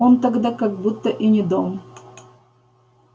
он тогда как будто и не дом